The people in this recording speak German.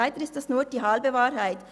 Leider ist das nur die halbe Wahrheit.